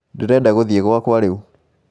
Ndĩrenda gũthiĩ gwaka rĩu